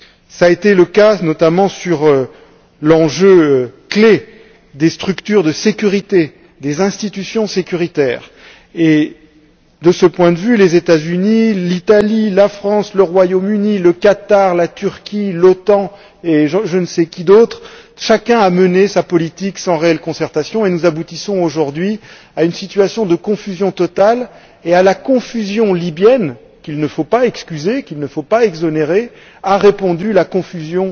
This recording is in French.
Cela a été le cas, notamment, sur l'enjeu clé des structures de sécurité, des institutions sécuritaires et, de ce point de vue, les États Unis, l'Italie, la France, le Royaume Uni, le Qatar, la Turquie, l'OTAN et je ne sais qui d'autre, chacun a mené sa politique sans réelle concertation et nous aboutissons aujourd'hui à une situation de confusion totale. À la confusion libyenne, qu'il ne faut pas excuser, qu'il ne faut pas exonérer, a répondu la confusion